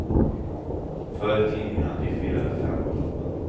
Följ tidningarna i fyra eller fem av loppen.